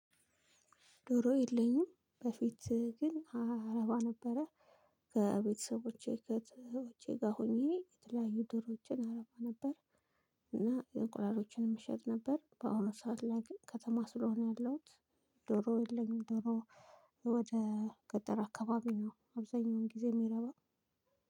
ዶሮ የለኝም በፊት ግን አረባ ነበረ ከቤተሰቦቼ ከትውጄ ጋር ሆኜ የተለያዩ ድሮችን አረባ ነበር። እና የእንቁላሎችንም እሸጥ ነበር በአሁኑ ሰዓት ላይ ግን ከተማ ስለሆነ ያለሁት። ዶሮ የለኝም ዶሮ። ወደ ገጠር አካባቢ ነው አብዛኛውን ጊዜ የሚረባው።